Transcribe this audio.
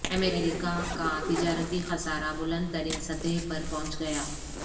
امریکہ کا تجارتی خسارہ بلند ترین سطح پر پہنچ گیا